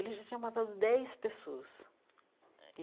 Ele já tinha matado dez pessoas.